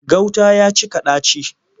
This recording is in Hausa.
Gauta ya cika ɗaci.